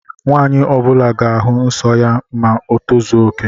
Nwanyi ọbula ga-ahu nsọ ya ma o tozuoke